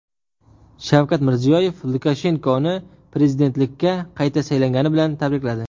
Shavkat Mirziyoyev Lukashenkoni prezidentlikka qayta saylangani bilan tabrikladi.